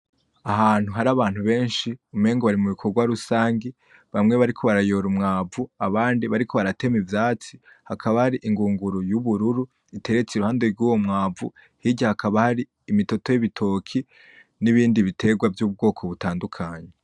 Ahantu hari abantu benshi umengo bari mubikorwa rusangi bamwe bariko barayora umwavu abandi bariko baratema ivyatsi hakaba hari ingunguru y'ubururu iteretse iruhande rwuwo mwavu hirya hakaba hari imitoto y'ibitoki nibindi biterwa vyubwoko butandukanye.